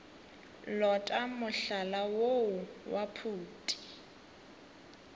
lota mohlala woo wa phuti